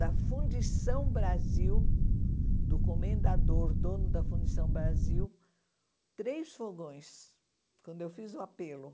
da Fundição Brasil, do comendador, dono da Fundição Brasil, três fogões, quando eu fiz o apelo.